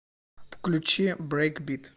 включи брейкбит